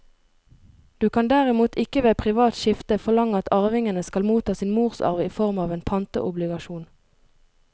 Du kan derimot ikke ved privat skifte forlange at arvingene skal motta sin morsarv i form av en pantobligasjon.